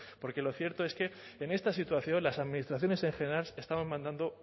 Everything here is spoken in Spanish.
porque lo cierto es que en esta situación las administraciones en general estamos mandando